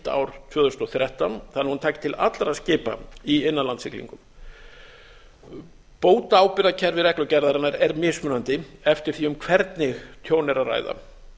ár tvö þúsund og þrettán þannig að hún taki til allra skipa í innanlandssiglingum bótaábyrgðarkerfi reglugerðarinnar er mismunandi eftir því um hvernig tjón er að ræða